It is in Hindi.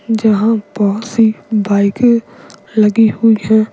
जहां बहुत सी बाइकें लगी हुई हैं।